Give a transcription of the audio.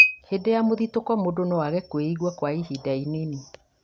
hĩndĩ ya mũthitũko, mũndũ no aage kwĩigua kwa ihinda inini